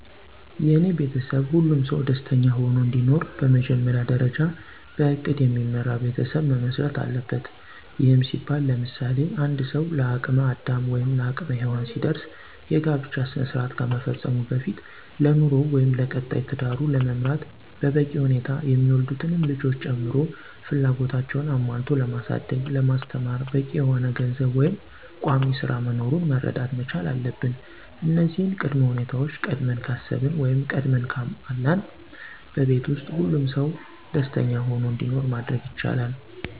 የኔ ቤተሰብ ሁሉም ሰው ደስተኛ ሆኖ እንዲኖር በመጀመሪያ ደርጃ በእቅድ የሚመራ ቤተሰብ መመስረት አለበት። ይህም ሲባል ለምሳሌ፦ አንድ ሰው ለአቅም አዳም ወይም ለአቅመ ሄዎን ሲደርስ የጋብቻ ስነስራአት ከመፈፀሙ በፊት ለኑሮው ወይም ለቀጣይ ትዳሩን ለመምራት በበቂ ሁኔታ የሚወለዱትንም ልጆች ጨምሮ ፍላጎታቸውን አሞልቶ ለማሳደግ ለማስተማር በቂ የሆነ ገንዘብ ወይም ቋሚስራ መኖሩን መረዳት መቻል አለብን እነዚህን ቅድመ ሁኔታወች ቀድመን ካሰብን ወይም ቀድመን ካሟላን በቤት ውስጥ ሁሉም ሰው ደስኛ ሁኖ እንዲኖር ማድረግ ይቻላል።